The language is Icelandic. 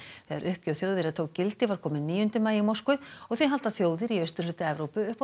þegar uppgjöf Þjóðverja tók gildi var kominn níundi maí í Moskvu og því halda þjóðir í austurhluta Evrópu upp á